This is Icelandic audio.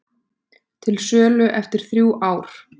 Til sölu eftir þrjú ár